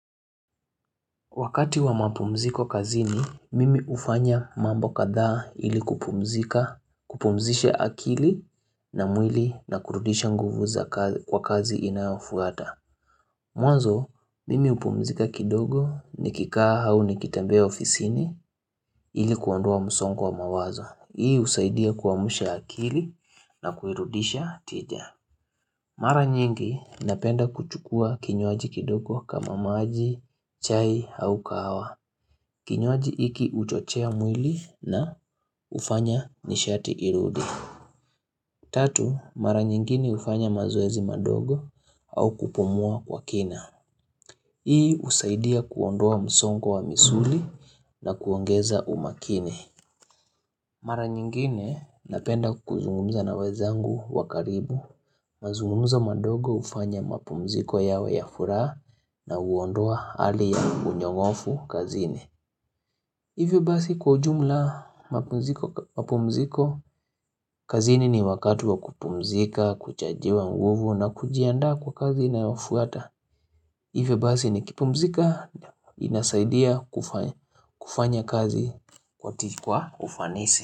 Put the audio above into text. Wakati wa mapumziko kazini, mimi hufanya mambo kadhaa ili kupumzika, kupumzisha akili na mwili na kurudisha nguvu za kwa kazi inayofuata. Mwanzo, mimi upumzika kidogo nikikaa au nikitembea ofisini ili kuandua msongo wa mawazo. Hii usaidia kuamusha akili na kuirudisha tija. Mara nyingi napenda kuchukua kinywaji kidogo kama maji, chai au kahawa. Kinywaji hiki uchochea mwili na ufanya nishati irudi. Tatu, mara nyingine ufanya mazoezi madogo au kupumua kwa kina. Hii usaidia kuondoa msongo wa misuli na kuongeza umakini. Mara nyingine napenda kuzungumza na wenzangu wa karibu, mazungumzo madogo ufanya mapumziko yawe ya furaha na uondoa hali ya unyongofu kazini. Hivyo basi kwa ujumla mapumziko kazini ni wakati wa kupumzika, kuchajiwa nguvu na kujiandaa kwa kazi inayofuata. Hivyo basi nikipumzika inasaidia kufanya kazi kwa ufanisi.